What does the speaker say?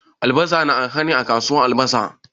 Albasa na arha ne a kasuwar albasa?